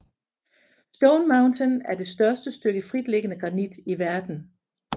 Stone Mountain er det største stykke fritliggende granit i verden